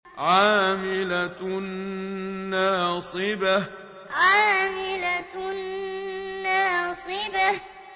عَامِلَةٌ نَّاصِبَةٌ عَامِلَةٌ نَّاصِبَةٌ